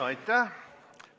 Aitäh!